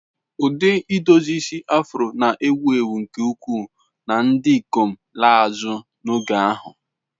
Ụdị idozi isi Afro na-ewu ewu nke ukwuu na ndị ikom laa azụ n'oge ahụ.